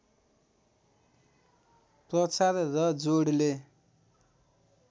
प्रचार र जोडले